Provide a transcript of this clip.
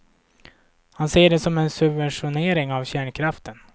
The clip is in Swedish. Han ser det som en subventionering av kärnkraften.